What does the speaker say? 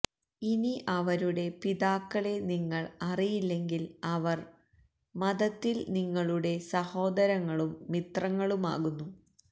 ഇനി അവരുടെ പിതാക്കളെ നിങ്ങൾ അറിയില്ലെങ്കിൽ അവർ മതത്തിൽ നിങ്ങളുടെ സഹോദരങ്ങളും മിത്രങ്ങളുമാകുന്നു